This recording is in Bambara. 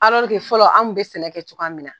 fɔlɔ anw tun bɛ sɛnɛ kɛ cogoya min na.